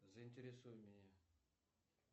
заинтересуй меня